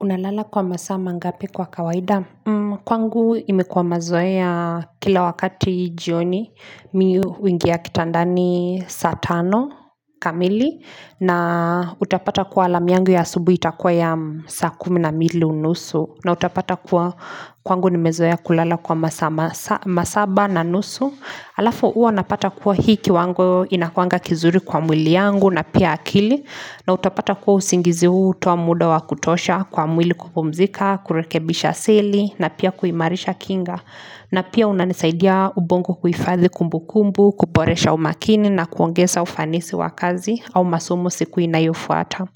Unalala kwa masaa mangapi kwa kawaida? Kwangu imekuwa mazoea kila wakati jioni mimi huingia kitandani saa tano kamili na utapata kwa alarm yangu ya asubuhi itakuwa ya saa kumi na mbili nusu na utapata kuwa kwangu nimezoea kulala kwa masaa masaba na nusu halafu huwa napata kuwa hii kiwango inakuanga kizuri kwa mwili yangu na pia akili na utapata kuwa usingizi huu hutoa muda wa kutosha kwa mwili kupumzika, kurekebisha seli na pia kuimarisha kinga na pia unanisaidia ubongo kuhifadhi kumbu kumbu, kuboresha umakini na kuongeza ufanisi wa kazi au masomo siku inayofuata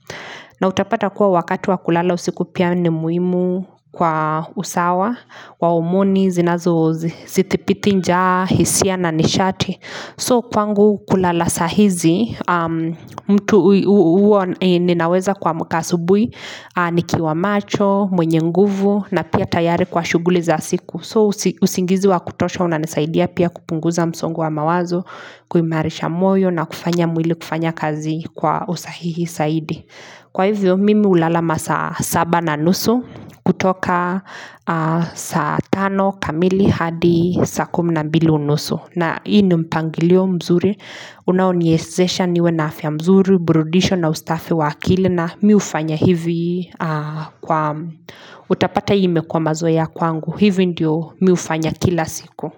na utapata kuwa wakati wa kulala usiku pia ni muhimu kwa usawa wa homoni, zinazo zithibiti njaa, hisia na nishati So kwangu kulala saa hizi mtu huwa ninaweza kuamka asubuhi ni kiwa macho, mwenye nguvu na pia tayari kwa shughuli za siku. So usingizi wa kutosha unanisaidia pia kupunguza msongo wa mawazo, kuimarisha moyo na kufanya mwili kufanya kazi kwa usahihi zaidi. Kwa hivyo mimi ulala masaa saba na nusu kutoka saa tano kamili hadi saa kumina mbili unusu. Na hii ni mpangilio mzuri. Unaoniwezesha niwe na afya nzuri, uburudisho na ustafe wa akili na mimi hufanya hivi kwa utapata imekuwa mazoea kwangu. Hivyo ndiyo mimi hufanya kila siku.